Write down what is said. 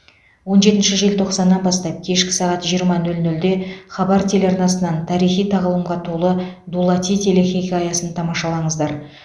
он жетінші желтоқсаннан бастап кешкі сағат жиырма нөл нөлде хабар телеарнасынан тарихи тағлымға толы дулати телехикаясын тамашалаңыздар